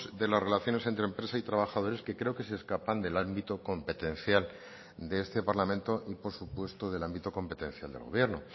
de las relaciones entre empresa y trabajadores que creo que se escapan del ámbito competencial de este parlamento y por supuesto del ámbito competencial del gobierno